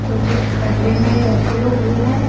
तो कुछ खड्डे में रखे हुए हैं।